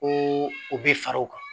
Ko u bɛ fara u kan